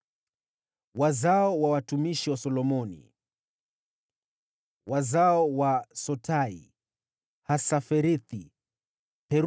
Wazao wa watumishi wa Solomoni: wazao wa Sotai, Hasaferethi, Peruda,